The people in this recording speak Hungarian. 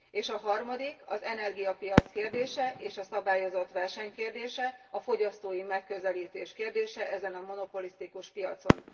És a harmadik az energiapiac kérdése, és a szabályozott verseny kérdése, a fogyasztói megközelítés kérdése ezen a monopolisztikus piacon.